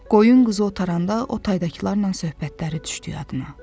Qoyun, qız otaranda o taydakılarla söhbətləri düşdü yadına.